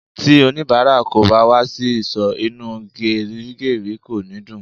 Ti onibara kò bá wà sì ìsò, inú gerigeri kò ní dùn